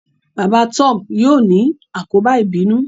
baba Tom yíò ni àkóbá ibinu